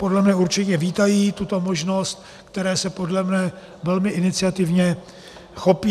Podle mne určitě vítají tuto možnost, které se podle mne velmi iniciativně chopí.